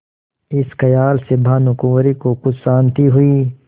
इस खयाल से भानुकुँवरि को कुछ शान्ति हुई